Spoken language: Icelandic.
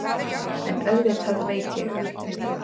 En auðvitað veit ég.